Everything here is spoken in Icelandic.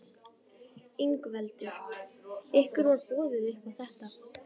Ingveldur: Ykkur var boðið upp á þetta?